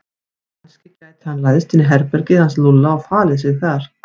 Kannski gæti hann læðst inn í herbergið hans Lúlla og falið sig þar.